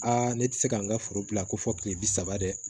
ne tɛ se ka n ka foro bila ko fɔ kile bi saba dɛ